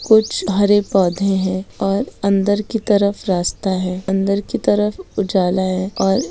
कुछ हरे पौधे है और अंदरकी तरफ रास्ता है अंदरकी तरफ उजाला है और--